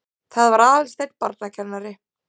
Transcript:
Það var Aðalsteinn barnakennari.